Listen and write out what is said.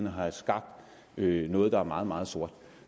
og have skabt noget der er meget meget sort